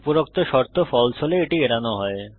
উপরোক্ত শর্ত ফালসে হলে এটি এড়ানো হয়